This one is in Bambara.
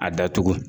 A datugu